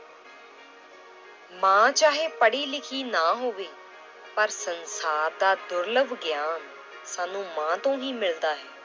ਮਾਂ ਚਾਹੇ ਪੜ੍ਹੀ ਲਿਖੀ ਨਾ ਹੋਵੇ ਪਰ ਸੰਸਾਰ ਦਾ ਦੁਰਲਭ ਗਿਆਨ ਸਾਨੂੰ ਮਾਂ ਤੋਂ ਹੀ ਮਿਲਦਾ ਹੈ।